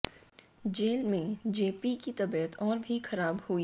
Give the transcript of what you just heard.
jail में J॰ P॰ की तबीयत और भी खराब हुई